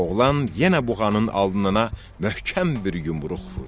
Oğlan yenə buğanın alnına möhkəm bir yumruq vurdu.